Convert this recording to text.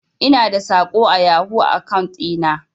Ina da saƙo a yahoo akaun ɗi na.